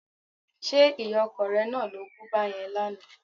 Ṣé ìyá ọkọ rẹ náà lo bú báyẹn lánàá?